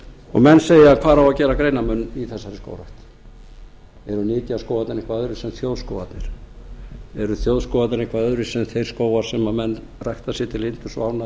landbúnaðarráðuneytinu menn segja hvar á að gera greinarmun á þessari skógrækt eru nytjaskógarnir eitthvað öðruvísi en þjóðskógarnir eru þjóðskógarnir eitthvað öðruvísi en þeir skógar sem menn rækta sér til yndis og ánægju